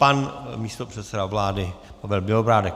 Pan místopředseda Vlády Pavel Bělobrádek.